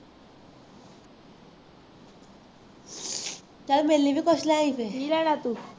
ਨਾਲੇ ਮੇਲੀ ਨੂੰ ਪੁੱਛ ਲਾਂ ਗੇ ਕੀ ਲੈਣਾ ਤੂੰ